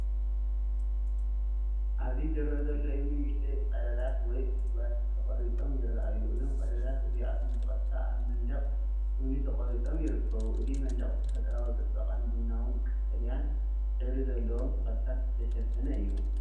ኣብዚ ዝረአ ዘሎ እምኒ ንኣሽተይ ቀዳዳት ወይ ጕድጓድ ተቖሪጾም ይረኣዩ። እዞም ቀዳዳት እዚኣቶም ብቐጥታ ኣብ መንደቕ እምኒ ተቖሪጾም ይርከቡ። እቲ መንደቕ ብተፈጥሮኣዊ ጽባቐን ቡናዊን ቀጠልያን ሕብሪ ዘለዎም ተኽልታትን ዝተሸፈነ እዩ።